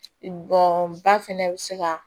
Bɔn ba fɛnɛ bɛ se ka